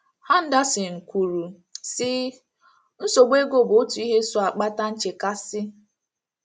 Henderson kwuru, sị: “ Nsogbu ego bụ otu ihe so akpata nchekasị. ”